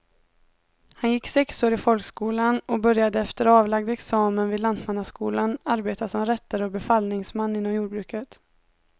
Han gick sex år i folkskolan och började efter avlagd examen vid lantmannaskolan arbeta som rättare och befallningsman inom jordbruket.